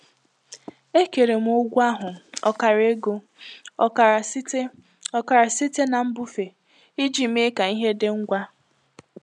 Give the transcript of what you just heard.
Ekewara m ụgwọ ahụ—ọkara ego, ọkara site ọkara site na mbufe—iji mee ka ihe dị ngwa.